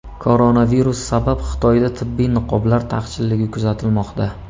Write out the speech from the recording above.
Koronavirus sabab Xitoyda tibbiy niqoblar taqchilligi kuzatilmoqda.